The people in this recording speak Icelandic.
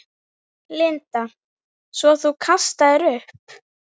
Linda: Svo þú kastaðir upp?